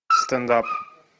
стендап